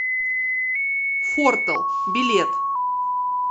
фортэл билет